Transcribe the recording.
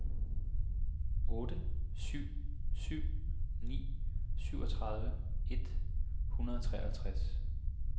otte syv syv ni syvogtredive et hundrede og treoghalvtreds